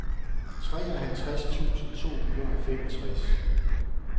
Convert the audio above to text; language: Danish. treoghalvtreds tusind to hundrede og femogtres